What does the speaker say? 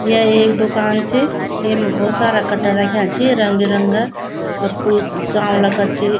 या एक दूकान च येमा भोत सारा कट्टा रख्याँ छी रंग बिरंगा और कुई चावला का छी।